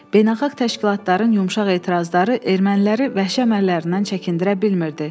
Beynəlxalq təşkilatların yumşaq etirazları erməniləri vəhşi əməllərindən çəkindirə bilmirdi.